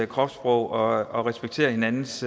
kropssprog og og respekterer hinandens